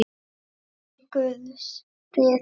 Í guðs friði.